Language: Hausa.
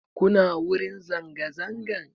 Kuna wurin zanga zangan?